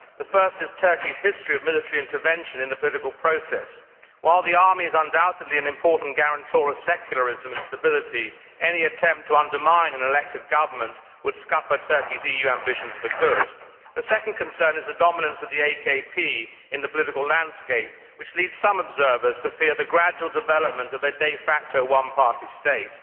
The first is Turkey's history of military intervention in the political process. While the army is undoubtedly an important guarantor of secularism and stability, any attempt to undermine an elected government would scupper Turkey's EU ambitions for good. The second concern is the dominance of the AKP in the political landscape, which leads some observers to fear the gradual development of a de facto one party state.